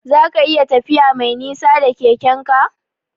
Zaka iya tafiya Mai nisa da Keke'n ka?